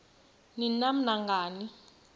ni nam nangani